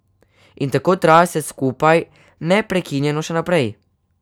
In tako traja vse skupaj neprekinjeno še naprej.